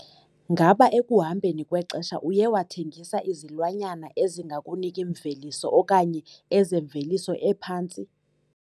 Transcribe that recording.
Ngaba ekuhambeni kwexesha uye wathengisa izilwanyana ezingakuniki mveliso okanye ezemveliso ephantsi?